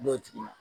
N'o tigi ma